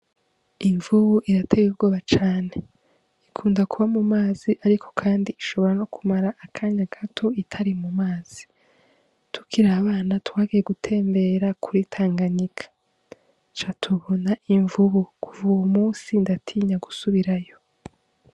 Imvubu irateye ubwoba cane ikunda kuba mu mazi ariko kandi ishobora no kumara akanya gato itari mu mazi, Tukiri abana twagiye gutembera kuri tanganyika duca tubona imvubu kuva uwo munsi ndatinya gusubirayo.